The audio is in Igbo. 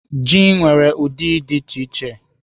Ji nwere ụdị dị iche iche.